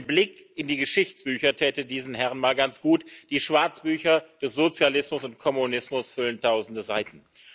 Ein Blick in die Geschichtsbücher täte diesen Herren mal ganz gut Die Schwarzbücher des Sozialismus und Kommunismus füllen tausende Seiten.